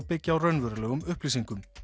byggja á raunverulegum upplýsingum